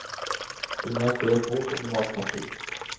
Hun har skrevet bok om matpakker.